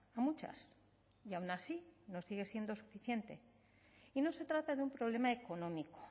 a muchas y aun así no sigue siendo suficiente y no se trata de un problema económico